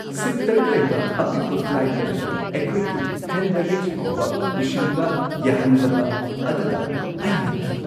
ꯁꯤꯠ ꯶ ꯂꯩꯕ ꯑꯄꯤꯛꯄ ꯐ꯭ꯂꯥꯏꯠ ꯑꯗꯨꯗ ꯑꯩꯈꯣꯏꯒꯤ ꯍꯦꯟ ꯕꯦꯒꯦꯖ ꯐꯥꯎꯕ ꯄꯨꯁꯤꯟꯕ ꯌꯥꯍꯟꯗꯕ ꯑꯗꯨꯗ ꯑꯩ ꯉꯛꯈꯤ ꯫